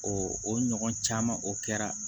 o ɲɔgɔn caman o kɛra